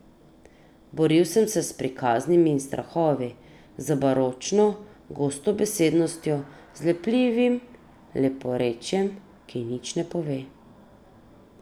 Boril sem se s prikaznimi in strahovi, z baročno gostobesednostjo, z lepljivim leporečjem, ki nič ne pove.